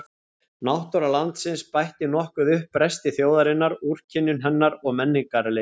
Náttúra landsins bætti nokkuð upp bresti þjóðarinnar, úrkynjun hennar og menningarleysi.